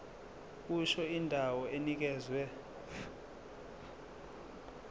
kusho indawo enikezwe